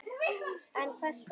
En Hvers vegna?